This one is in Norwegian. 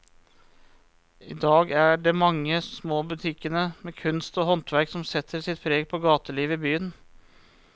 I dag er det de mange små butikkene med kunst og håndverk som setter sitt preg på gatelivet i byen.